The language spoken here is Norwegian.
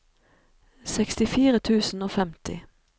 sekstifire tusen og femti